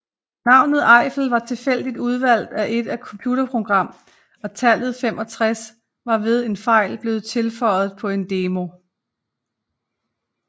Navnet Eiffel var tilfældigt udvalgt af et computerprogram og tallet 65 var ved en fejl blevet tilføjet på en demo